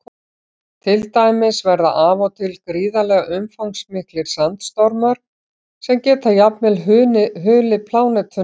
Til dæmis verða af og til gríðarlega umfangsmiklir sandstormar sem geta jafnvel hulið plánetuna alla.